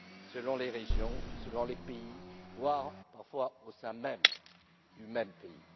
selon les régions, selon les pays, voire parfois au sein du même pays.